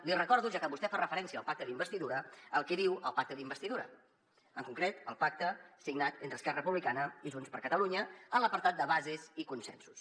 li recordo ja que vostè fa referència al pacte d’investidura el que diu el pacte d’investidura en concret el pacte signat entre esquerra republicana i junts per catalunya en l’apartat de bases i consensos